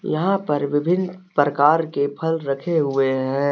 यहाँ पर विभिन्न प्रकार के फल रखे हुए हैं।